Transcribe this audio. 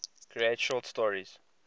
create short stories